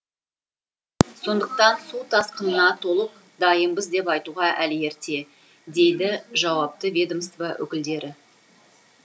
сондықтан су тасқынына толық дайынбыз деп айтуға әлі ерте дейді жауапты ведомство өкілдері